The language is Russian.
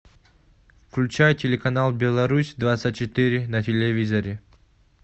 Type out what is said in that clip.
включай телеканал беларусь двадцать четыре на телевизоре